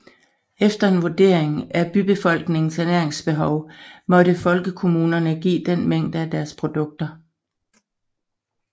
Efter en vurdering af bybefolkningens ernæringsbehov måtte folkekommunerne give den mængde af deres produkter